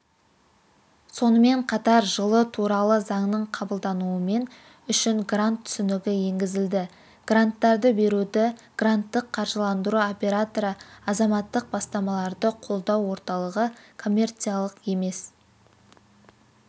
сонымен қатар жылы туралы заңның қабылдануымен үшін грант түсінігі енгізілді гранттарды беруді гранттық қаржыландыру операторы азаматтық бастамаларды қолдау орталығы коммерциялық емес